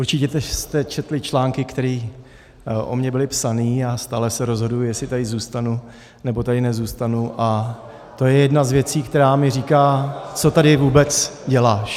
Určitě jste četli články, které o mně byly psány, a stále se rozhoduji, jestli tady zůstanu, nebo tady nezůstanu, a to je jedna z věcí, která mi říká - co tady vůbec děláš?